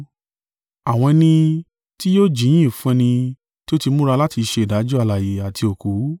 Àwọn ẹni tí yóò jíyìn fún ẹni tí ó ti múra láti ṣe ìdájọ́ alààyè àti òkú.